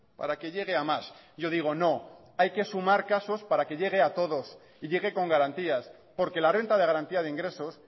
para que llegue a más yo digo no hay que sumar casos para que llegue a todos y llegue con garantías porque la renta de garantía de ingresos